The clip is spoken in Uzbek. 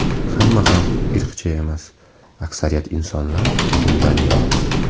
Hamma ham irqchi emas, aksariyat insonlar bundan yiroq.